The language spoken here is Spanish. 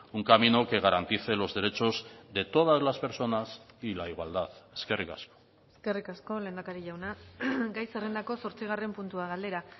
un camino que garantice los derechos de todas las personas y la igualdad eskerrik asko eskerrik asko lehendakari jauna gai zerrendako zortzigarren puntua galdera